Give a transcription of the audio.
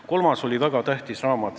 Kolmas oli väga tähtis raamat.